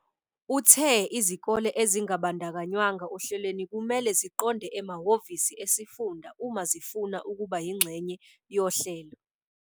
Uthe izikole ezingabandakanywanga ohlelweni kumele ziqonde emahhovisi esifunda uma zifuna ukuba yingxenye yohlelo.